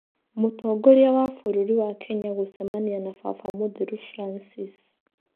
Mũtongoria wa bũrũrĩ wa Kenya gũcemania na baba mũtheru brancis.